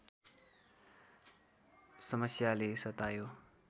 समस्याले सतायो